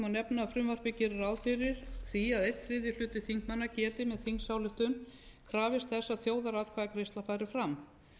nefna að frumvarpið gerir ráð fyrir því að einn þriðji hluti þingmanna geti með þingsályktun krafist þess að þjóðaratkvæðagreiðsla fari fram